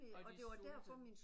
Og de sultede